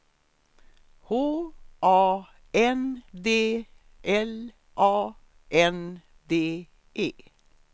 H A N D L A N D E